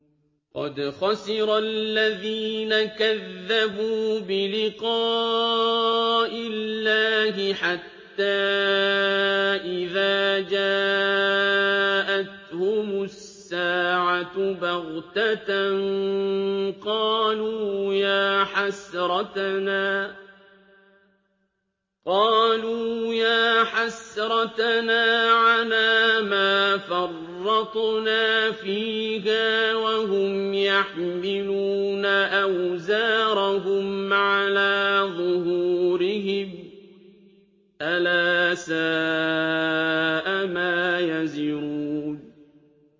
قَدْ خَسِرَ الَّذِينَ كَذَّبُوا بِلِقَاءِ اللَّهِ ۖ حَتَّىٰ إِذَا جَاءَتْهُمُ السَّاعَةُ بَغْتَةً قَالُوا يَا حَسْرَتَنَا عَلَىٰ مَا فَرَّطْنَا فِيهَا وَهُمْ يَحْمِلُونَ أَوْزَارَهُمْ عَلَىٰ ظُهُورِهِمْ ۚ أَلَا سَاءَ مَا يَزِرُونَ